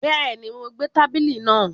Bẹ́ẹ̀ni, Mo gbẹ́ tábìlì náà